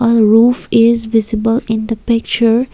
the roof is visible in the picture.